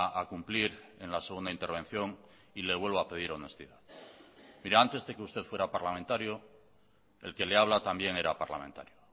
a cumplir en la segunda intervención y le vuelvo a pedir honestidad mire antes de que usted fuera parlamentario el que le habla también era parlamentario